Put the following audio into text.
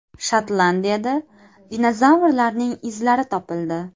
Shotlandiyada dinozavrlarning izlari topildi.